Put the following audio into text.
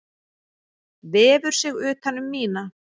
Vefur sig utan um mína.